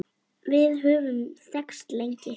Við höfum þekkst lengi